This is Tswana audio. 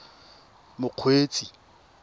mokgweetsi